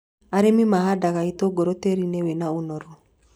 Arĩmi mahandaga itũngũrũ tĩĩri-inĩ wĩna ũnoru